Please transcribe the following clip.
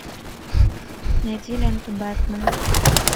найди ленту бэтмен